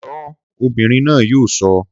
Sọ́ ọ! Ọmọbìnrin náà yóò sọ.